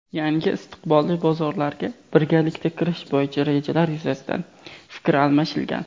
yangi istiqbolli bozorlarga birgalikda kirish bo‘yicha rejalar yuzasidan fikr almashilgan.